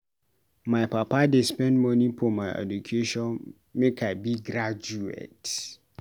My papa dey spend moni for my education make I be graduate.